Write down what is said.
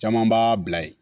Caman b'a bila yen